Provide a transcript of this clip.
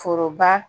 Foroba